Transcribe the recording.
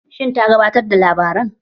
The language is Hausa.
Shin ta gabatar da labaran?